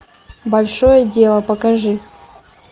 большое дело покажи